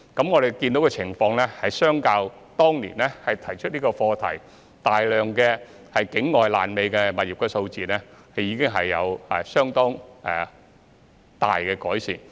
我們看到的情況是，對比當年提出這個課題時有大量境外"爛尾"物業的數字，情況已經有相當大的改善。